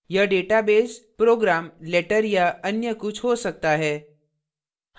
यह database program letter या अन्य कुछ हो सकता है